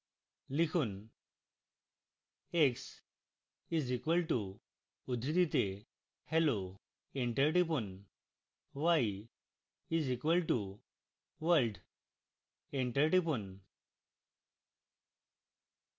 লিখুন